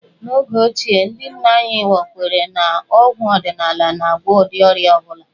N'oge ochie, ndị nna anyị ha kwere na ọgwụ ọdịnala na-agwọ ụdị ọrịa ọ bụla